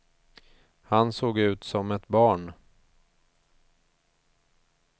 Han såg ut som ett barn.